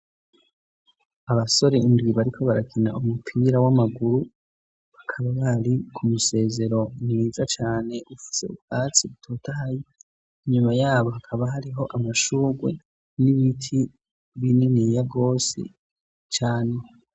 Abasore indwi bariko barakina umupira w'amaguru, bakaba bari ku musezero mwiza cane, ufise ubwatsi butotahaye. Inyuma yabo hakaba hariho amashurwe n'ibiti bininiya rwose cane.